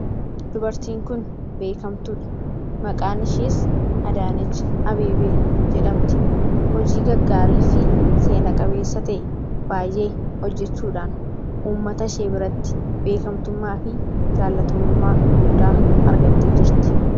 Dubartiin kun beekamtuu dha. Maqaan ishees Adaanech Abeebee jedhamti. Hojii gaggaarii fi seena qabeessa ta'e baay'ee hojjechuudhaan ummatashee biratti beekamtummaa fi jaallatamummaa guddaa argattee jirti.